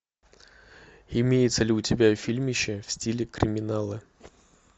имеется ли у тебя фильмище в стиле криминала